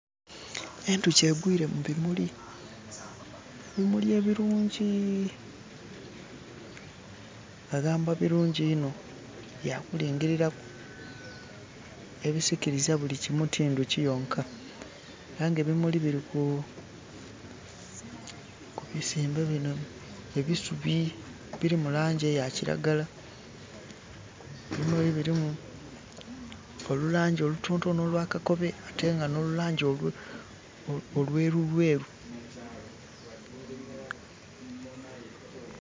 Enduki egwire mu bimuli, ebimuli ebirungi ...birungi inho byakulingiriraku ebisikiriza bulikimu ti nduki yonka ay' ebimuli biriku ku bisimbe bino bisubi ebiri mulangi eya kiragala. Ebimuli birimu olulangi olutonotono olwa kakobe ate no lulangi olwerulweru